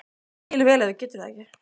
Ég skil vel ef þú getur það ekki.